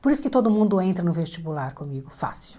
Por isso que todo mundo entra no vestibular comigo, fácil.